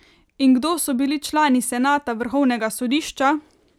In kdo so bili člani senata vrhovnega sodišča?